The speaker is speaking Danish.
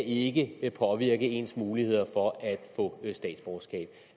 ikke påvirke ens muligheder for at få statsborgerskab